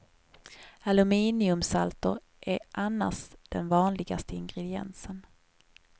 Aluminiumsalter är annars den vanligaste ingrediensen.